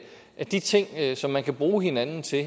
er de ting som man kan bruge hinanden til